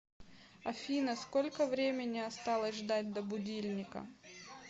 афина сколько времени осталось ждать до будильника